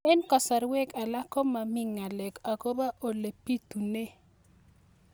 Eng' kasarwek alak ko mami ng'alek akopo ole pitunee